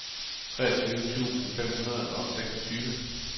treogtyve tusind fem hundrede og seksogtyve